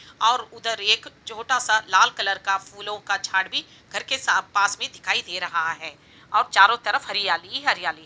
ओर उधर एक छोटा सा लाल कलर का फूलों का झाड़ भी घर के पास मे दिखाई दे रहा है। ओर चारो तरफ हरियाली ही हरियाली --